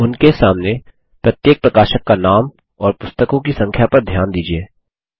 उनके सामने प्रत्येक प्रकाशक का नाम और पुस्तकों की संख्या पर ध्यान दीजिये